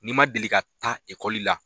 N'i ma deli ka taa ekɔli la